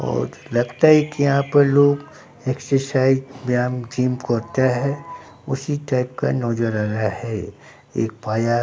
और लगता है कि यहां पर लोग एक्सरसाइज बयाम जिम करता है उसी टाइप का नोजर आ रहा है एक पाया --